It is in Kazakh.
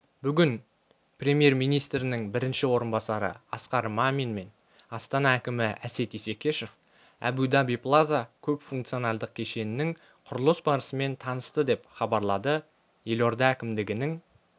бүгін премьер-министрінің бірінші орынбасары асқар мамин мен астана әкімі әсет исекешев әбу-даби плаза көпфункционалдық кешенінің құрылыс барысымен танысты деп хабарлады елорда әкімдігінің